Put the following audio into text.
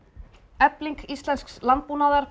efling íslensks landbúnaðar